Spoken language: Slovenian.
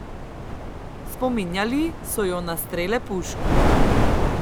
Spominjali so jo na strele pušk.